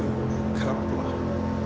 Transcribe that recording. Krafla